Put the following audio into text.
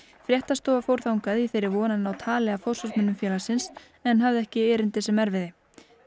fréttastofa fór þangað í þeirri von að ná tali af forsvarsmönnum félagsins en hafði ekki erindi sem erfiði